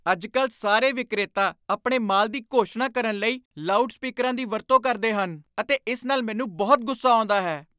ਅੱਜਕੱਲ੍ਹ ਸਾਰੇ ਵਿਕਰੇਤਾ ਆਪਣੇ ਮਾਲ ਦੀ ਘੋਸ਼ਣਾ ਕਰਨ ਲਈ ਲਾਊਡ ਸਪੀਕਰਾਂ ਦੀ ਵਰਤੋਂ ਕਰਦੇ ਹਨ ਅਤੇ ਇਸ ਨਾਲ ਮੈਨੂੰ ਬਹੁਤ ਗੁੱਸਾ ਆਉਂਦਾ ਹੈ।